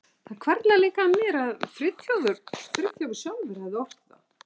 Það hvarflaði líka að mér að Friðþjófur sjálfur hefði ort það.